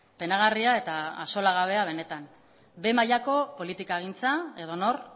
penagarria eta axolagabea benetan behe mailako politikagintza edonor